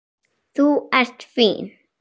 Þú ert fín.